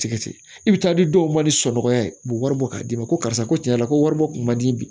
Tigɛti i bi taa di dɔw ma ni sɔnɔgɔya ye u be wari bɔ k'a d'i ma ko karisa ko tiɲɛ yɛrɛ ko wari bɔ kun man di bi